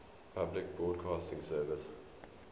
public broadcasting service